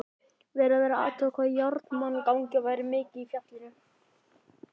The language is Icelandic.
Verið var að athuga hvað járnmagnið væri mikið í fjallinu.